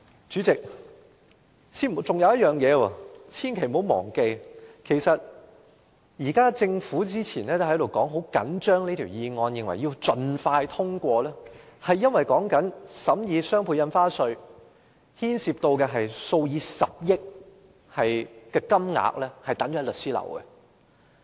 此外，千萬不要忘記，政府早前十分重視《條例草案》，認為必須盡快通過，因為在審議雙倍從價印花稅期間，牽涉數以十億元的稅款存放在律師樓。